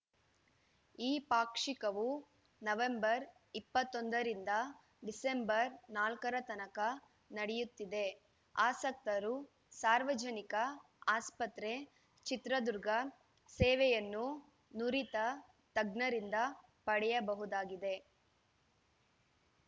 ಈ ಪಾಕ್ಷಿಕವು ನವೆಂಬರ್ ಇಪ್ಪತ್ತ್ ಒಂದು ಡಿಸೆಂಬರ್‌ ನಾಲ್ಕರ ತನಕ ನಡೆಯುತ್ತಿದೆ ಆಸಕ್ತರು ಸಾರ್ವಜನಿಕ ಆಸ್ಪತ್ರೆ ಚಿತ್ರದುರ್ಗ ಸೇವೆಯನ್ನು ನುರಿತ ತಜ್ಞರಿಂದ ಪಡೆಯಬಹುದಾಗಿದೆ